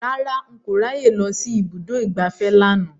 Rárá, n kò ráyè lọ sí ibùdó ìgbafẹ́ lánàá